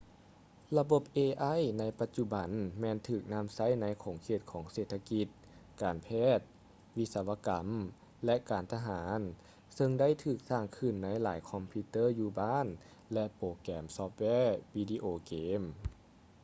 ລະບົບ ai ໃນປະຈຸບັນແມ່ນຖືກນຳໃຊ້ໃນຂົງເຂດຂອງເສດຖະກິດ ການແພດ ວິສະວະກຳ ແລະ ການທະຫານເຊິ່ງໄດ້ຖືກສ້າງຂຶ້ນໃນຫລາຍຄອມພິວເຕີ້ີຢູ່ບ້ານ ແລະ ໂປແກຮມຊອຟແວວີດີໂອເກມ